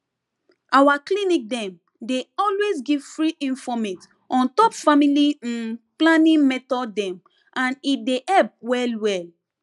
our clinic dem dey always give free informate on top family hmm planning method dem and e dey help well well